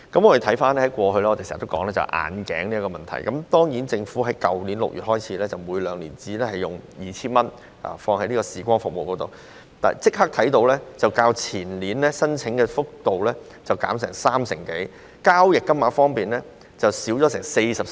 我們過去經常討論眼鏡的問題，而自政府在去年6月規定，每名合資格長者可使用醫療券支付視光服務的配額為每兩年 2,000 元後，申請數目較前年減少三成多，交易金額亦減少了 43%。